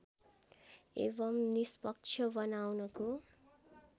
एवं निष्पक्ष बनाउनको